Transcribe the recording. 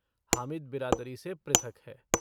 हामिद बिरादरी से पृथक है।